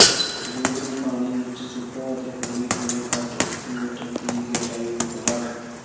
ring ਨੂੰ ਪਾਣੀ ਵਿੱਚ ਸੁੱਟੋ ਅਤੇ ਹੌਲੀ ਹੌਲੀ ਘੱਟ ਇੱਕ ਮੀਟਰ ਦੀ ਗਹਿਰਾਈ ਨੂੰ ਘਟਾਓ